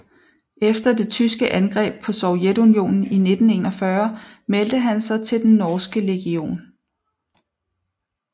Efter det tyske angreb på Sovjetunionen i 1941 meldte han sig til Den norske legion